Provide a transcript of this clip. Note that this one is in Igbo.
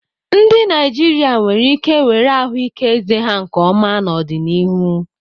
Ndị Naijiria nwere ike were ahụike eze ha nke ọma n'ọdịnihu.